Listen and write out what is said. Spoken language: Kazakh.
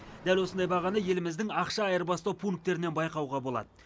дәл осындай бағаны еліміздің ақша айырбастау пунктерінен байқауға болады